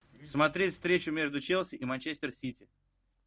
смотреть встречу между челси и манчестер сити